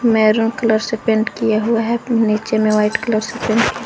maroon colour से paint किया हुआ है नीचे में व्हाइट कलर से पेंट --